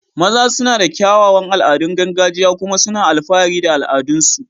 maza suna da kyawawan al'adun gargajiya kuma suna alfahari da al'adunsu